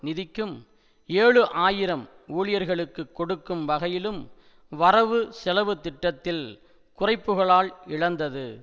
நிதிக்கும் ஏழு ஆயிரம் ஊழியர்களுக்கு கொடுக்கும் வகையிலும் வரவுசெலவுத்திட்டத்தில் குறைப்புக்களால் இழந்தது